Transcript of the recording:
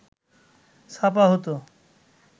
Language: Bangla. ছাপা হতো